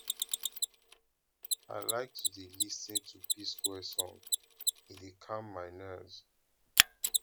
i like to dey lis ten to psquare song e dey calm my nerves